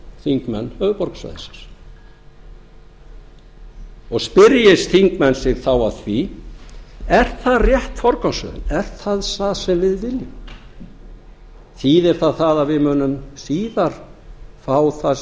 þingmenn höfuðborgarsvæðisins og spyrji þingmenn sig þá að því er það rétt forgangsröðun er það það sem við viljum þýðir það það að við munum síðar fá það